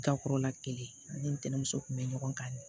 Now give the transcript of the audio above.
Gakɔrɔla kelen ani ntɛnɛnmuso kun bɛ ɲɔgɔn kan